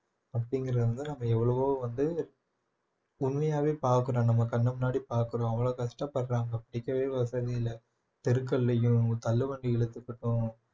அப்படிங்கிறது வந்து நம்ம எவ்வளவோ வந்து பார்க்கிறோம் நம்ம கண்ணு முன்னாடி பார்க்கிறோம் அவ்வளவு கஷ்டப்படுறாங்க படிக்கவே வசதி இல்லை தெருக்கள்ளையும் தள்ளுவண்டி இழுத்துக்கட்டும்